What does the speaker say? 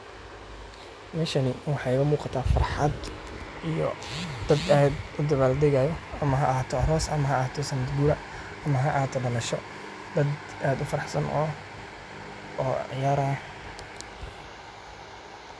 Meshan waxaa ka jiraa farxad iyo dad aad u faraxsan oo ciyarayaan .